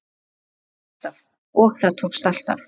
Og það tókst alltaf.